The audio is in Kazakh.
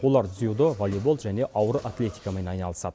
олар дзюдо волейбол және ауыр атлетикамен айналысады